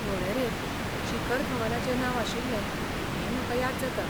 वळेरेंत शिखर धवनाचे नांव आशिल्लें हे म्हाका याद जाता.